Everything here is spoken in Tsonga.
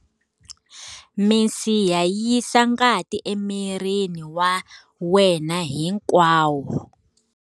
Misiha yi yisa ngati emirini wa wena hinkwawo.